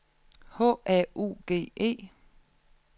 H A U G E